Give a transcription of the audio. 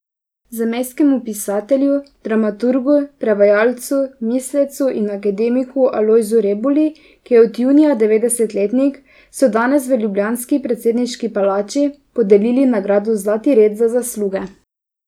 Zamejskemu pisatelju, dramaturgu, prevajalcu, mislecu in akademiku Alojzu Rebuli, ki je od junija devetdesetletnik, so danes v ljubljanski Predsedniški palači podelili nagrado zlati red za zasluge.